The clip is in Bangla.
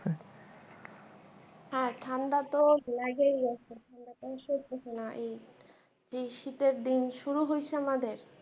হ্যাঁ ঠাণ্ডা তো লেগেই গেসে এই শীতের দিন শুরু হয়েসে আমাদের